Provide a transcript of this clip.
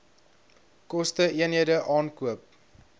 koste eenhede aankoop